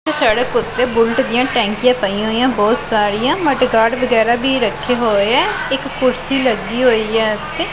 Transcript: ਸੜਕ ਉੱਤੇ ਬੁਲਟ ਦੀਆਂ ਟੈਂਕੀਆਂ ਪਾਈਆਂ ਹੋਈਐਂ ਬਹੁਤ ਸਾਰੀਆਂ ਮਟ ਗਾਰਡ ਵਗੈਰਾ ਭੀ ਰੱਖੇ ਹੋਏ ਐ ਇੱਕ ਕੁਰਸੀ ਲੱਗੀ ਹੋਈ ਐ ਇੱਥੇ।